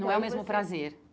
Não é o mesmo prazer.